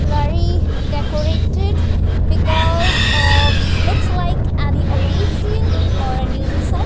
blurry decorated because of looks like any occasion or any --